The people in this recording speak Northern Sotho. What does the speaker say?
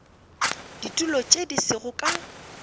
ditulo tše di sego ka